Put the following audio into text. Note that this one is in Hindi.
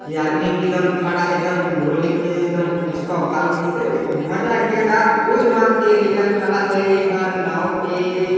ये आदमी भी ये दम खड़ा है दम रोलिंग में दम पुष्प भाउ जैसे मजा आ गया क्या पोज़ मार के ई लईका खड़ा हैयहाँ नाव पे--